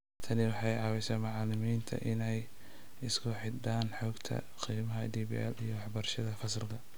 Tani waxay ka caawisaa macallimiinta inay isku xidhaan xogta qiimaynta DPL iyo waxbarashada fasalka.